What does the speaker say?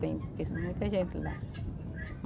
Bem, conheço muita gente de lá.